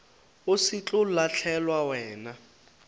go se tlo lahlelwa wena